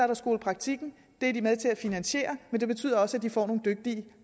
der skolepraktikken det er de med til at finansiere men det betyder også at de får nogle dygtige